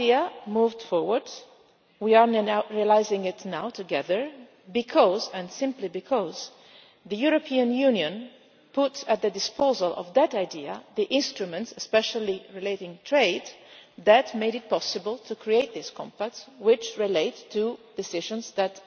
That idea moved forward, and we are now putting it into practice together because and simply because the European Union put at the disposal of that idea the instruments, especially relating to trade, that made it possible to create this compact, which relates to decisions